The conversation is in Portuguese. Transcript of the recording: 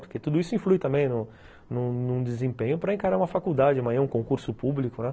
Porque tudo isso influi também no no no desempenho para encarar uma faculdade, amanhã um concurso público, né?